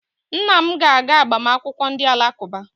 Nna m ga-aga agbamakwụkwọ ndị Alakụba.